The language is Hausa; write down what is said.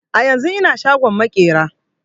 A yanzun ina shagon maƙera